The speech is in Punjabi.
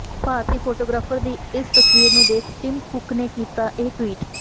ਭਾਰਤੀ ਫੋਟੋਗ੍ਰਾਫਰ ਦੀ ਇਸ ਤਸਵੀਰ ਨੂੰ ਦੇਖ ਟਿਮ ਕੁੱਕ ਨੇ ਕੀਤਾ ਇਹ ਟਵੀਟ